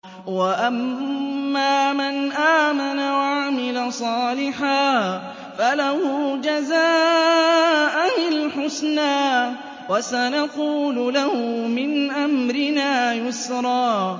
وَأَمَّا مَنْ آمَنَ وَعَمِلَ صَالِحًا فَلَهُ جَزَاءً الْحُسْنَىٰ ۖ وَسَنَقُولُ لَهُ مِنْ أَمْرِنَا يُسْرًا